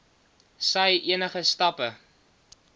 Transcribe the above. sy enige stappe